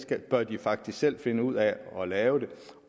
det bør de faktisk selv finde ud af at lave